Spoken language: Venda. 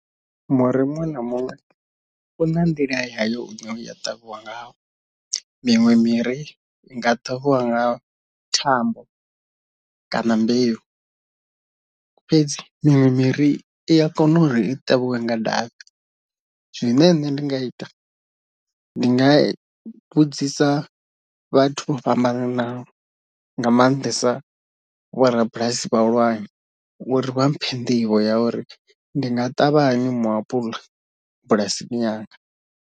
Muri muṅwe na muṅwe u na nḓila yayo i ne wa ṱavhiwa ngayo, miṅwe miri i nga ṱavhiwa nga thambo kana mbeu, fhedzi miṅwe miri i a kona uri i ṱavhiwe nga davhi zwine nṋe ndi nga ita ndi nga vhudzisa vhathu vho fhambananaho nga maanḓesa vho rabulasi vhahulwane uri vha mphe nḓivho ya uri ndi nga ṱavha hani muapula bulasini yanga.